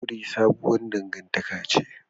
Aure sabuwar dangantaka ne